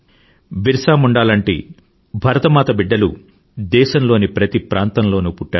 బిర్సా ముండా లాంటి భరతమాత బిడ్డలు దేశంలోని ప్రతి ప్రాంతంలోనూ పుట్టారు